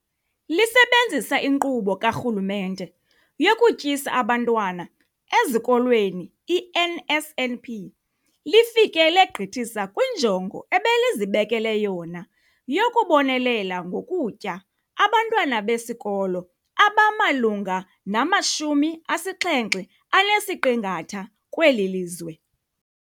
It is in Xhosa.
Lisebenzisa iNkqubo kaRhulumente yokuTyisa Abantwana Ezikolweni, i-NSNP, lifike legqithisa kwinjongo ebelizibekele yona yokubonelela ngokutya abantwana besikolo abamalunga nama-75 kweli lizwe.